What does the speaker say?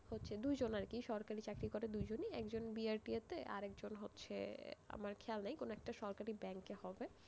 হচ্ছে দুইজন আরকি, সরকারি চাকরি করে দুইজনই, একজন BRTA তে, আরেকজন হচ্ছে, আমার খেয়াল নেই, কোনো একটা সরকারি bank এ হবে,